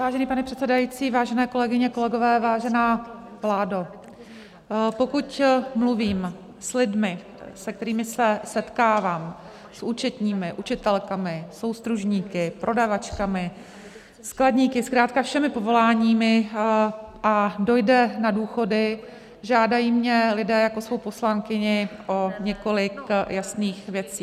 Vážený pane předsedající, vážené kolegyně, kolegové, vážená vládo, pokud mluvím s lidmi, se kterými se setkávám, s účetními, učitelkami, soustružníky, prodavačkami, skladníky, zkrátka všemi povoláními, a dojde na důchody, žádají mě lidé jako svou poslankyni o několik jasných věcí.